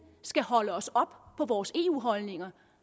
skal holde os op på vores eu holdninger